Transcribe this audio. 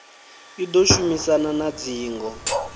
i ḓo shumisana na dzingo